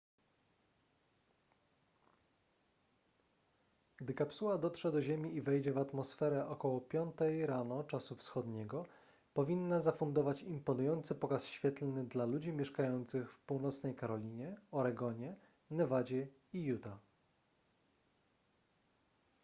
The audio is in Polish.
gdy kapsuła dotrze do ziemi i wejdzie w atmosferę około 5 rano czasu wschodniego powinna zafundować imponujący pokaz świetlny dla ludzi mieszkających w północnej karolinie oregonie nevadzie i utah